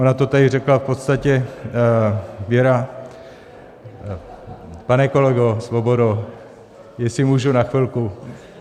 Ona to tady řekla v podstatě Věra... pane kolego Svobodo, jestli můžu na chvilku...